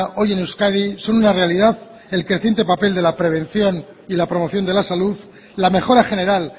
hoy en euskadi son una realidad el creciente papel de la prevención y la promoción de la salud la mejora general